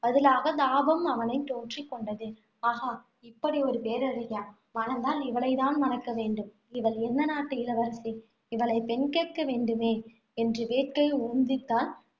பதிலாக தாபம் அவனைத் தொற்றிக் கொண்டது. ஆஹா இப்படி ஒரு பேரழகியா மணந்தால் இவளைத் தான் மணக்க வேண்டும். இவள் எந்த நாட்டு இளவரசி இவளைப் பெண் கேட்க வேண்டுமே என்ற வேட்கை உந்தித்த